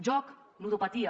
joc ludopatia